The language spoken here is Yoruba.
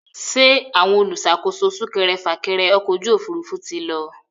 Ṣé àwọn olùṣàkóso súkẹrẹfà-kẹrẹ ọkọ̀ òfurufú ti lọ?